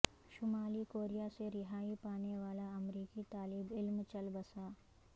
شمالی کوریا سے رہائی پانے والا امریکی طالب علم چل بسا